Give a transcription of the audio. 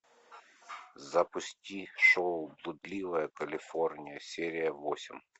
запусти шоу блудливая калифорния серия восемь